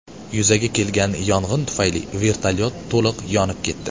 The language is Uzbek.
Yuzaga kelgan yong‘in tufayli vertolyot to‘liq yonib ketdi.